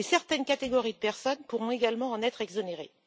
Et certaines catégories de personnes pourront également en être exonérées.